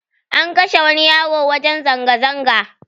An kashe wani yaro a wajen zanga zanga